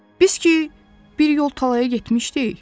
Biz ki, bir yol tallaya getmişdik.